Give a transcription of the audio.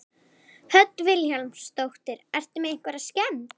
Hödd Vilhjálmsdóttir: Ertu með einhverja skemmd?